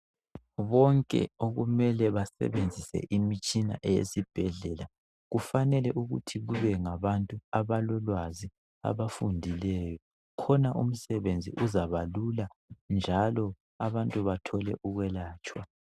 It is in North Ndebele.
Bonke okumele basebenzise imitshina eyesibhedlela kufanele ukuthi kube ngabantu abalolwazi abafundileyo khona umsebenzi uzabalula njalo abantu bathole ukwelatshwa.